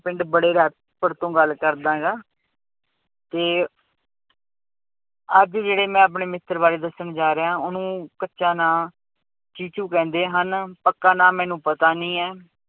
ਪਿੰਡ ਬੜੇ ਪੁਰ ਤੋਂ ਗੱਲ ਕਰਦਾਂ ਗਾ ਤੇ ਅੱਜ ਜਿਹੜੇ ਮੈਂ ਆਪਣੇ ਮਿੱਤਰ ਬਾਰੇ ਦੱਸਣ ਜਾ ਰਿਹਾਂ ਉਹਨੂੰ ਕੱਚਾ ਨਾਂ ਚੀਚੂ ਕਹਿੰਦੇ ਹਨ, ਪੱਕਾ ਨਾਂ ਮੈਨੂੰ ਪਤਾ ਨੀ ਹੈ,